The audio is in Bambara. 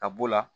Ka b'o la